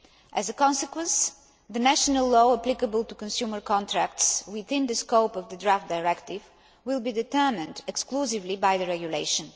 As a consequence, the national law applicable to consumer contracts within the scope of the draft Directive will be determined exclusively by the Regulation.